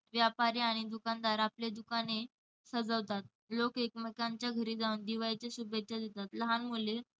व्यापारी आणि दुकानदार आपली दुकाने सजवतात. लोक एकमेकांच्या घरी जाऊन दिवाळीच्या शुभेच्छा देतात. लहान मुले